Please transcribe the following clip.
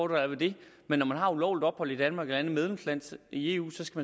der er ved det men når man har ulovligt ophold i danmark eller et andet medlemsland i eu